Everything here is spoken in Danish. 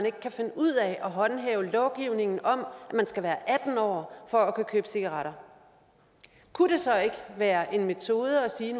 ikke kan finde ud af at håndhæve lovgivningen om at man skal være atten år for at kunne købe cigaretter kunne det så ikke være en metode at sige